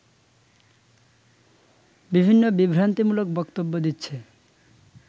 বিভিন্ন বিভ্রান্তিমূলক বক্তব্য দিচ্ছে